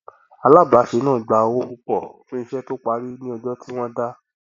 alábáṣe náà gba owó púpọ fún iṣẹ tó parí ní ọjọ tí wọn dá